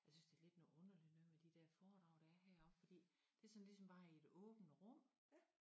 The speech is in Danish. Jeg synes det lidt noget underligt noget med de dér foredrag der er heroppe fordi det sådan ligesom bare i et åbent rum